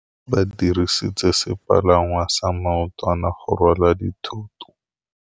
Ba dirisitse sepalangwasa maotwana go rwala dithôtô.